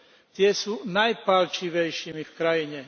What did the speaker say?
Tie sú najpálčivejšími v krajine.